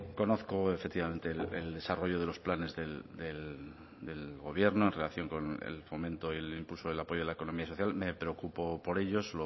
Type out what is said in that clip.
conozco efectivamente el desarrollo de los planes del el gobierno en relación con el fomento y el impulso y el apoyo de la economía social me preocupo por ellos solo